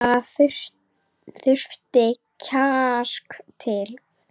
Það þurfti kjark til.